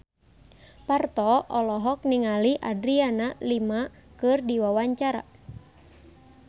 Parto olohok ningali Adriana Lima keur diwawancara